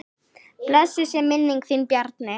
Blessuð sé minning þín Bjarni.